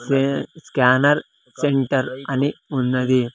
క్వీ-- scanner centre అని ఉన్నది.